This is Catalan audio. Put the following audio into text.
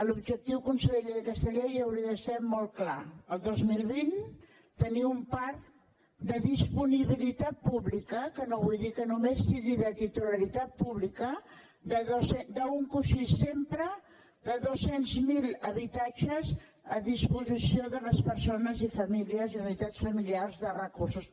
l’objectiu conseller d’aquesta llei hauria de ser molt clar el dos mil vint tenir un parc de disponibilitat pública que no vull dir que només sigui de titularitat pública d’un coixí sempre de dos cents miler habitatges a disposició de les persones i famílies i unitats familiars de recursos